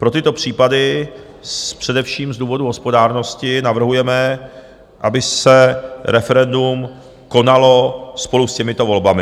Pro tyto případy především z důvodu hospodárnosti navrhujeme, aby se referendum konalo spolu s těmito volbami.